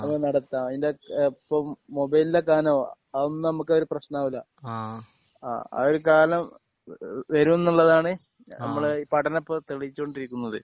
ആഹ് അപ്പൊ നടത്താം. ആഹ് അതിന്റെ ഇപ്പൊ മുബൈലിലെ കനം അതൊന്നും നമുക്ക് ഒരു പ്രശ്നം ആവൂല്ല. അതൊരു കാലം വരും എന്നുള്ളതാണ് നമ്മുടെ പഠനം ഇപ്പോൾ തെളിയിച്ചു കൊണ്ടിരിക്കുന്നത്.